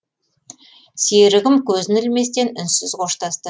серігім көзін ілместен үнсіз қоштасты